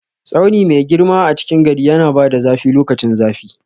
Tsauni mai girma a cikin gari yana bada zafi lokacin zafi.